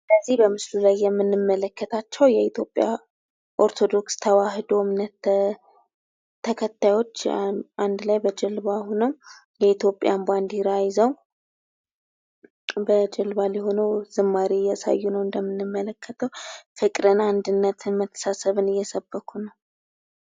በዚ በምስሉ ላይ የምንመለከታቸው የኢትዮጵያ ኦርቶዶክስ ተዋሕዶ እምነት ተከታዮች አንድ ላይ በጀልባ ሁነው ፣ የኢትዮጵያን ባንዲራ ይዘው ፣ በጀልባ ላይ ሁነው ዝማሬ እያሳዩ ነው ። እንደምንመለከተው ፍቅርን፣ አንድነትን ፣ መተሳሰብን እየሰበኩ ነው ።